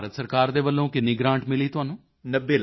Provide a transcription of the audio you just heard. ਤਾਂ ਭਾਰਤ ਸਰਕਾਰ ਦੇ ਵੱਲੋਂ ਕਿੰਨੀ ਗ੍ਰਾਂਟ ਮਿਲੀ ਤੁਹਾਨੂੰ